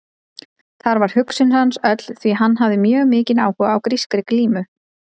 Þar var hugsun hans öll því að hann hafði mjög mikinn áhuga á grískri glímu.